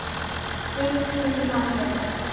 Þinn Hilmar Leó.